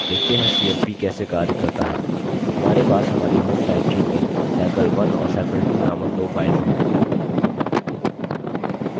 देखते हैं cmp कैसे कार्य करता है हमारे पास हमारी home directory में sample1 और sample2 named दो files हैं